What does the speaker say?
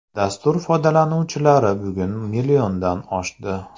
Dastur foydalanuvchilari bugun milliondan oshdi.